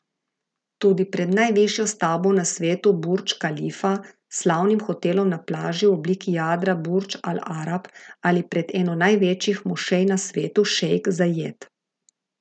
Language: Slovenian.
Tudi pred najvišjo stavbo na svetu Burdž Kalifa, slavnim hotelom na plaži v obliki jadra Burdž Al Arab ali pred eno največjih mošej na svetu Šejk Zajed.